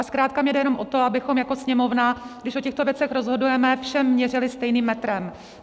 A zkrátka mi jde jenom o to, abychom jako Sněmovna, když o těchto věcech rozhodujeme, všem měřili stejným metrem.